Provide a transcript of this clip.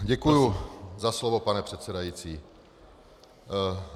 Děkuju za slovo, pane předsedající.